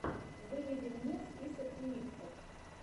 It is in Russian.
выведи мне список ремиксов